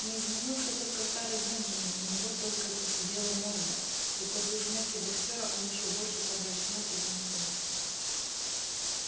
не изменился только старый бенджамин у него только поседела морда и после смерти боксёра он ещё больше помрачнел и замкнулся